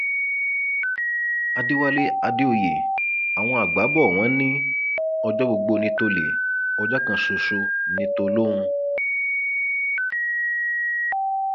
àdẹwálé àdèoyè àwọn àgbà bò wọn ní ọjọ gbogbo ní tòlè ọjọ kan ṣoṣo ní tolọhùn